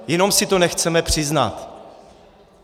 Jenom si to nechceme přiznat.